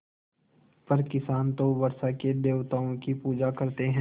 पर किसान तो वर्षा के देवताओं की पूजा करते हैं